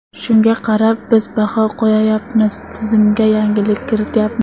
Shunga qarab, biz baho qo‘yayapmiz, tizimga yangilik kirityapmiz.